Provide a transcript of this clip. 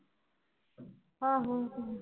ਆਹੋ ਓ ਤੇ ਹੈ